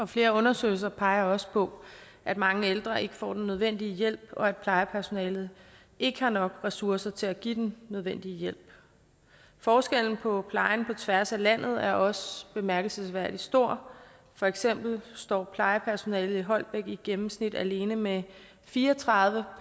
flere undersøgelser peger også på at mange ældre ikke får den nødvendige hjælp og at plejepersonalet ikke har nok ressourcer til at give den nødvendige hjælp forskellen på plejen på tværs af landet er også bemærkelsesværdig stor for eksempel står plejepersonalet i holbæk i gennemsnit alene med fire og tredive